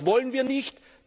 Das wollen wir nicht.